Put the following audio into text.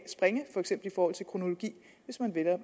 springe for eksempel i forhold til kronologi hvis man vel at